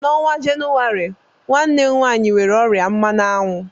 N'ọnwa Jenụwarị, nwanne m nwanyị nwere ọrịa mmana anwu